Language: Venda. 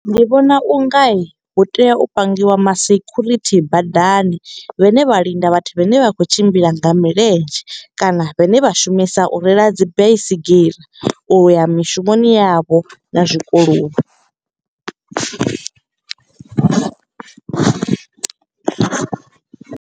Ndi vhona u nga, hu tea u pangiwa ma sekhurithi badani. Vha ne vha linda vhathu vhane vha khou tshimbila nga milenzhe kana vhane vha shumisa u reila dzi baisigira. U ya mishumoni yavho na zwikoloni.